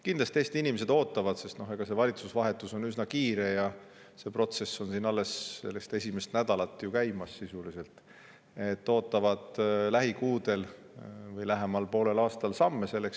Kindlasti Eesti inimesed ootavad – see valitsuse vahetus on üsna kiire, see protsess on siin käimas sisuliselt alles esimest nädalat –, et lähikuudel või lähema poole aasta jooksul selleks samme.